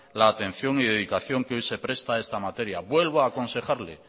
la atención y dedicación que hoy se presta a esta materia vuelvo aconsejarle